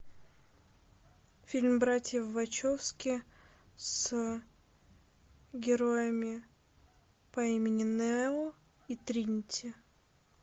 фильм братьев вачовски с героями по имени нео и тринити